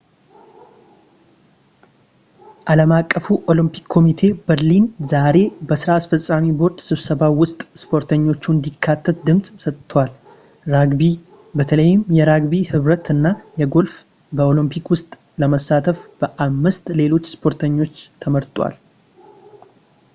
ዓለም አቀፉ ኦሎምፒክ ኮሚቴ በርሊን ዛሬ በሥራ አስፈፃሚ ቦርድ ስብሰባው ውስጥ ሰፖርቶቹ እንዲካተት ድምፅ ሰጥቷል ራግቢ በተለይም የራግቢ ኅብረት እና ጎልፍ በኦሎምፒክ ውስጥ ለመሳተፍ ከአምስት ሌሎች ስፖርቶች ተመርጠዋል